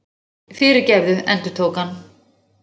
Fyrirgefðu, endurtók hann.